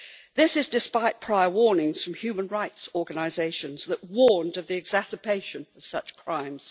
This is despite prior warnings from human rights organisations that warned of the exacerbation of such crimes.